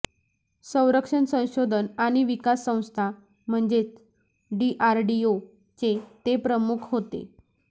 संरक्षण संशोधन आणि विकास संस्था म्हणजेच डीआरडीओ चे ते प्रमुख होते